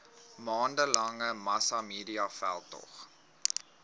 maande lange massamediaveldtog